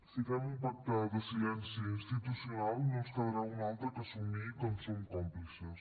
si fem un pacte de silenci institucional no ens quedarà una altra que assumir que en som còmplices